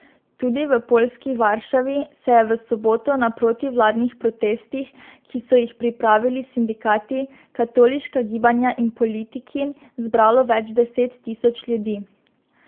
Tudi v poljski Varšavi se je v soboto na protivladnih protestih, ki so jih pripravili sindikati, katoliška gibanja in politiki, zbralo več deset tisoč ljudi.